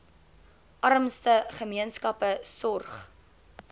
armste gemeenskappe sorg